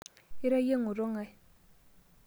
Ira iyie ng'oto ng'ae?